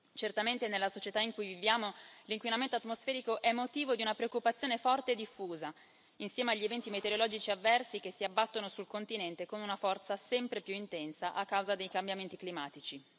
Certamente nella società in cui viviamo l'inquinamento atmosferico è motivo di una preoccupazione forte e diffusa, insieme agli eventi meteorologici avversi che si abbattono sul continente con una forza sempre più intensa a causa dei cambiamenti climatici.